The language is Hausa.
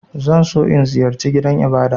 Zan so in ziyarce gidan Ibada.